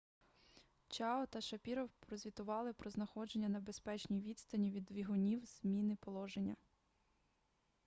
чао та шапіров прозвітували про знаходження на безпечній відстані від двигунів зміни положення